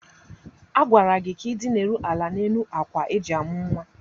A gwara gị ka ị dinara ala n'elu akwa eji amụ̀ nwa!